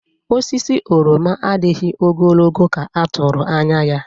Osisi oroma adịghị ogologo ka a tụrụ anya.